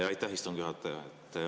Aitäh, istungi juhataja!